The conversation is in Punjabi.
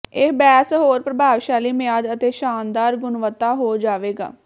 ਇਹ ਬੇਸ ਹੋਰ ਪ੍ਰਭਾਵਸ਼ਾਲੀ ਮਿਆਦ ਅਤੇ ਸ਼ਾਨਦਾਰ ਗੁਣਵੱਤਾ ਹੋ ਜਾਵੇਗਾ